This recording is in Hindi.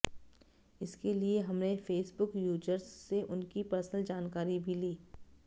इसके लिए हमने फेसबुक यूजर्स से उनकी पर्सनल जानकारी भी ली